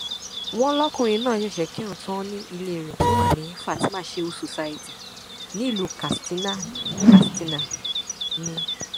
wọn lọkùnrin náà ṣẹṣẹ kírun tán ní ilé rẹ tó wà ní fatima shehu society nílùú katsina katsina ni